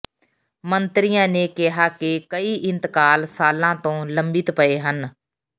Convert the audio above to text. ਮੰਤਰੀਆਂ ਨੇ ਕਿਹਾ ਕਿ ਕਈ ਇੰਤਕਾਲ ਸਾਲਾਂ ਤੋਂ ਲੰਬਿਤ ਪਏ ਹਨ